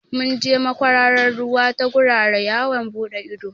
Mun je makwararar ruwa ta gurara yawon buɗe ido